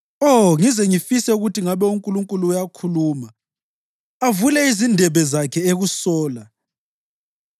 Oh, ngize ngifise ukuthi ngabe uNkulunkulu uyakhuluma, avule izindebe zakhe ekusola